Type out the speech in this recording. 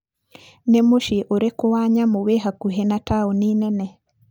Nĩ mũciĩ ũrĩkũ wa nyamũ wĩ hakuhĩ na taũni nene?